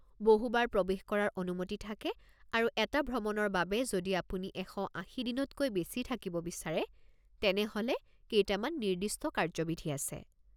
বহু বাৰ প্ৰৱেশ কৰাৰ অনুমতি থাকে আৰু এটা ভ্ৰমণৰ বাবে যদি আপুনি ১৮০ দিনতকৈ বেছি থাকিব বিচাৰে তেনেহ’লে কেইটামান নিৰ্দিষ্ট কাৰ্য্যবিধি আছে।